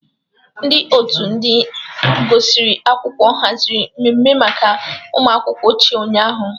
Ndị otu ndị gụsịrị akwụkwọ haziri mmemme maka ụmụakwụkwọ ochie ụnyahụ.